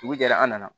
Dugu jɛra an nana